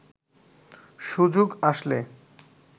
সুযোগ আসলে